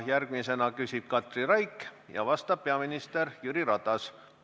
Järgmisena küsib Katri Raik ja vastab peaminister Jüri Ratas.